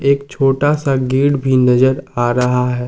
एक छोटा सा गेट भी नजर आ रहा है।